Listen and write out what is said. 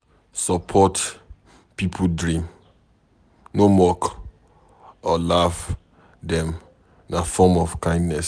Support pipo dream, no mock or laugh dem na form of kindness.